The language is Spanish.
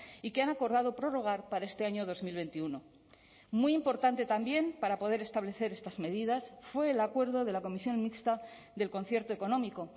y que han acordado prorrogar para este año dos mil veintiuno muy importante también para poder establecer estas medidas fue el acuerdo de la comisión mixta del concierto económico